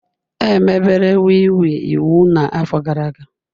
Emebere wii wii iwu na afọ gara aga